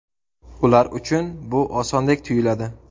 Ular uchun bu osondek tuyuladi.